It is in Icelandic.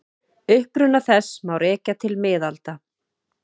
Uppruna þess má rekja til miðalda.